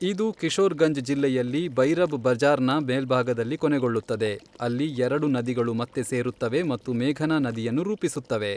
ಇದು ಕಿಶೋರ್ ಗಂಜ್ ಜಿಲ್ಲೆಯಲ್ಲಿ ಭೈರಬ್ ಬಜಾರ್ನ ಮೇಲ್ಭಾಗದಲ್ಲಿ ಕೊನೆಗೊಳ್ಳುತ್ತದೆ, ಅಲ್ಲಿ ಎರಡು ನದಿಗಳು ಮತ್ತೆ ಸೇರುತ್ತವೆ ಮತ್ತು ಮೇಘನಾ ನದಿಯನ್ನು ರೂಪಿಸುತ್ತವೆ.